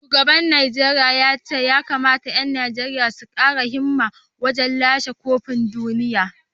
Shugaban ya ce ya kamata ‘yan Najeriya su kara himma wajen lashe kofin duniya